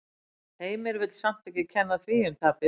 Heimir vill samt ekki kenna því um tapið.